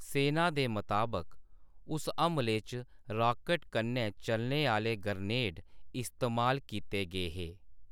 सैना दे मताबक, उस हमले च रॉकट कन्नै चलने आह्‌‌‌ले ग्रेनेड इस्तेमाल कीते गे हे।